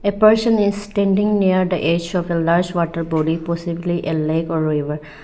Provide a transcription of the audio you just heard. person is standing near the edge of a large water body possibly a lake or river.